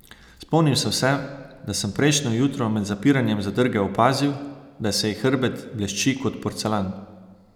Spomnil sem se, da sem prejšnje jutro med zapiranjem zadrge opazil, da se ji hrbet blešči kot porcelan.